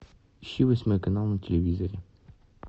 ищи восьмой канал на телевизоре